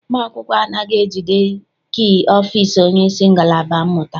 Ụmụ akwụkwọ anaghị ejide kii ọfịịsi onyeisi ngalaba mmụta.